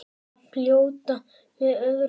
Að fljóta með öðru fólki.